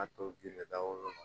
A to ji de dakolo la